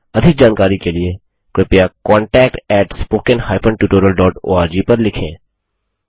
अधिक जानकारी के लिए कृपया contactspoken tutorialorg पर लिखें